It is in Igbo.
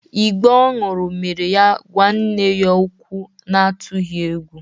Ìgbó ọ ṅụrụ mere ya ịgwa nne ya okwu n'atụghị egwu.